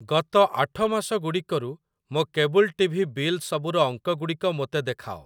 ଗତ ଆଠ ମାସଗୁଡ଼ିକରୁ ମୋ କେବୁଲ୍ ଟି ଭି ବିଲସବୁର ଅଙ୍କଗୁଡ଼ିକ ମୋତେ ଦେଖାଅ।